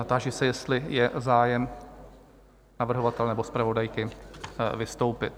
Táži se, jestli je zájem navrhovatele nebo zpravodajky vystoupit?